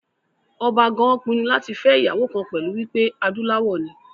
Ọba gan pinnu láti fẹ́ ìyàwó kan pẹ̀lú wípé adúláwọ̀ ni